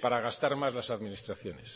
para gastar más las administraciones